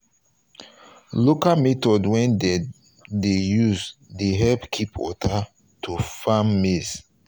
local method wey dem dey use dey help keep water to farm maize